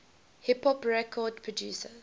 hip hop record producers